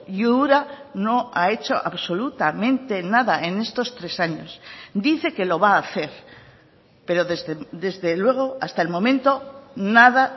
y ura no ha hecho absolutamente nada en estos tres años dice que lo va a hacer pero desde luego hasta el momento nada